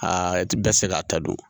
Aa i ti bɛɛ se k'a ta don